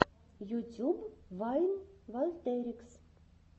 ютюб вайн вольтерикс